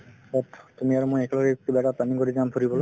তুমি আৰু মই একেলগে কিবা এটা planning কৰি যাম ফুৰিবলৈ